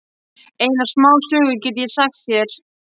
Eina smásögu get ég sagt þér.